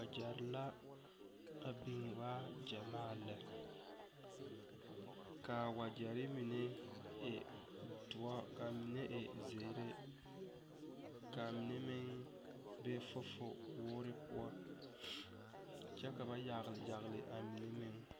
Wagyere la a biŋ waa gyamaa lɛ. Kaa wagyere mene e duor , kaa mene e ziire, kaa mene meŋ be fufuwuure poʊ. Kyɛ ka ba yagle yagle a mene meŋ